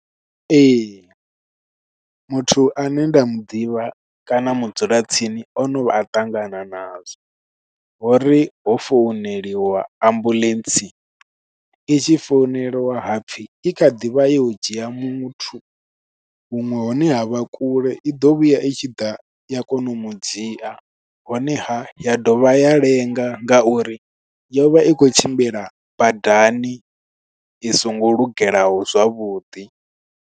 Ee, muthu ane nda mu ḓivha kana mu dzula tsini, ono vha a ṱangana nazwo. Hori ho founeliwa ambuḽentse, i tshi founela wa hapfi i kha ḓivha yo ya u dzhia muthu, huṅwe hune ha vha kule. I ḓo vhuya i tshi ḓa ya kona u mudzhia, honeha ya dovha ya lenga nga uri yo vha i khou tshimbila badani i songo lungelaho zwavhuḓi.